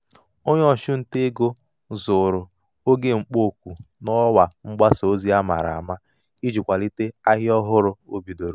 onye ọchụ nta ego zụrụ oge mkpọ oku n'ọwa mgbasa ozi a mara ama iji kwalite ahịa ọhụrụ o bidoro.